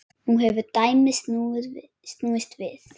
Nú hefur dæmið snúist við.